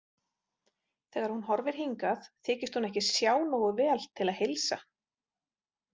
Þegar hún horfir hingað þykist hún ekki sjá nógu vel til að heilsa.